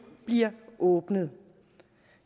bliver åbnet